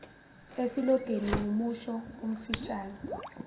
isilogeni wumusho omfishane